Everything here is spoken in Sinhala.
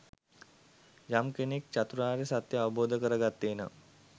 යම් කෙනෙක් චතුරාර්ය සත්‍ය අවබෝධ කර ගත්තේ නම්